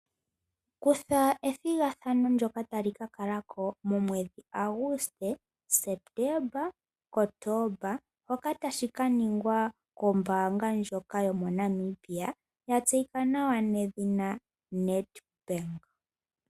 Kutha ethigathano lyoka tali kakala ko momwedhi Aguste , Septemba, Kotomba ngoka taga kaningwa kombaanga ndjono yaNamibia yatseyika nawa Nedbank.